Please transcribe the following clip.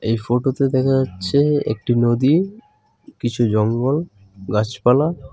এই ফটোতে দেখা যাচ্ছে একটি নদী কিছু জঙ্গল গাছপালা .